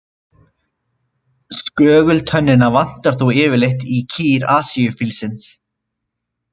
Skögultönnina vantar þó yfirleitt í kýr Asíufílsins.